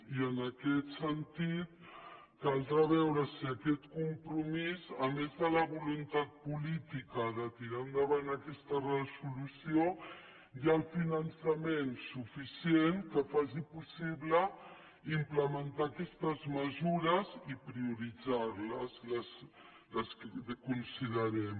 i en aquest sentit caldrà veure si en aquest compromís a més de la voluntat política de tirar endavant aquesta resolució hi ha el finançament suficient que faci possible implementar aquestes mesures i prioritzar les les que considerem